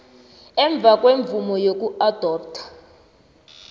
emva kwemvumo yokuadoptha